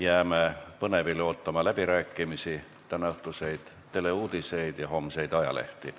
Jääme põnevil ootama läbirääkimisi, tänaõhtuseid teleuudiseid ja homseid ajalehti.